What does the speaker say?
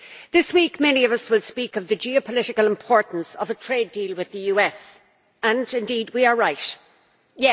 This week many of us will speak of the geopolitical importance of a trade deal with the US, and we are right to do so.